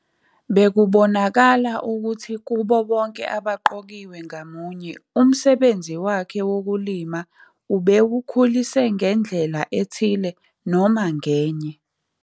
Bekubonakala ukuthi kubo bonke abaqokiwe ngamunye imsebenzi wakhe wokulima ubewukhulise ngendlela ethile noma ngenye.